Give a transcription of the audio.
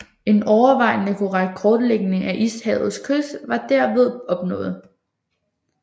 En overvejende korrekt kortlægning af ishavets kyst var derved opnået